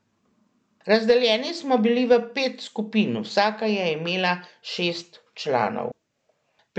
Razdeljeni smo bili v pet skupin, vsaka je imela šest članov.